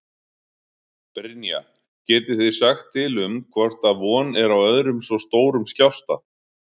Brynja: Getið þið sagt til um hvort að von er á öðrum svo stórum skjálfta?